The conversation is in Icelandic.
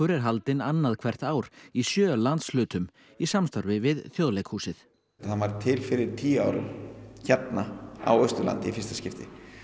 er haldinn annað hvert ár í sjö landshlutum í samstarfi við Þjóðleikhúsið hann varð til fyrir tíu árum hérna á Austurlandi í fyrsta skipti